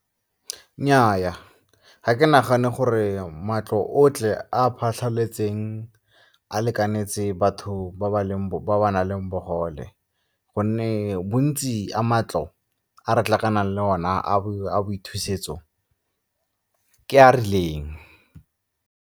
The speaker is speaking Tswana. Nnyaa, ga ke nagane gore matlo otlhe a a phatlhaletseng a lekanetse batho ba ba nang le bogole gonne bontsi a matlo a re tlhakanang le one a a boithusetso ke a a rileng.